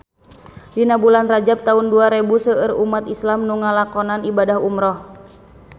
Dina bulan Rajab taun dua rebu seueur umat islam nu ngalakonan ibadah umrah